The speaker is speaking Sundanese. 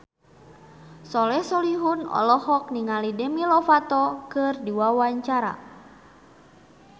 Soleh Solihun olohok ningali Demi Lovato keur diwawancara